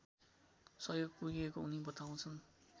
सहयोग पुगेको उनी बताउँछन्